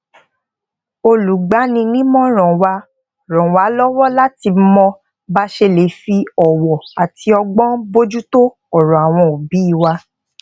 olùgbaninímòràn wa ràn wá lówó láti mọ bá a ṣe lè fi òwò àti ọgbón bójútó òrò àwọn obii wa